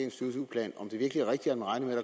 og tyve plan